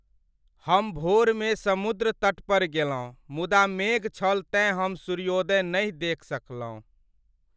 हम भोरमे समुद्र तट पर गेलहुँ, मुदा मेघ छल तेँ हम सूर्योदय नहि देखि सकलहुँ ।